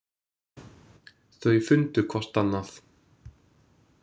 Þau fundu hvort annað.